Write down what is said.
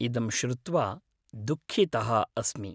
इदं श्रुत्वा दुःखितः अस्मि।